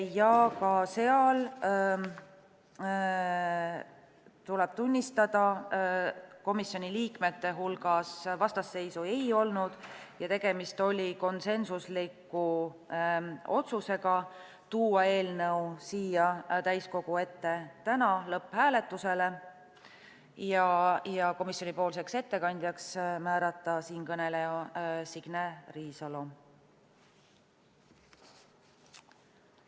Ka seal, tuleb tunnistada, komisjoni liikmete hulgas vastasseisu ei olnud ja tegemist oli konsensusliku otsusega tuua eelnõu siia täiskogu ette täna lõpphääletusele ja määrata komisjoni ettekandjaks siinkõneleja Signe Riisalo.